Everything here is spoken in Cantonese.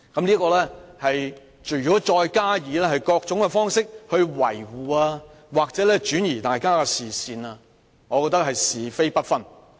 如果他們再以各種方式維護何議員或轉移大家的視線，我覺得他們是是非不分。